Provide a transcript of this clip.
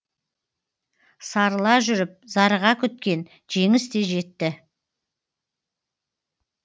сарыла жүріп зарыға күткен жеңіс те жетті